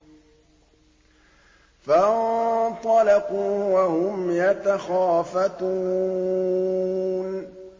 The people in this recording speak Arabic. فَانطَلَقُوا وَهُمْ يَتَخَافَتُونَ